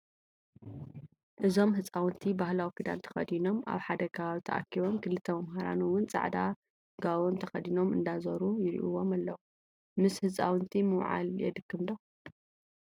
እዞም ህፃውቲ ባህላዊ ክዳን ተከዲኖም ኣብ ሓደ ከባቢ ተኣኪቦ ክልተ መምህራን እውን ፃዕዳ ጋቦን ተከዲኖም እንዳዘሩ ይርኢዎም ኣለው። ምስ ህፃውንቲ ምውዓል የድክም ዶ ?